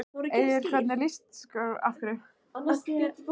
Egill hvernig líst þér á þessa stöðu?